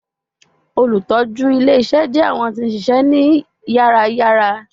Olutọju ile-iṣẹ jẹ awọn ti n ṣiṣẹ ni yàrá-yàrá